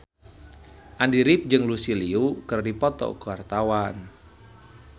Andy rif jeung Lucy Liu keur dipoto ku wartawan